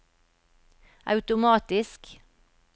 automatisk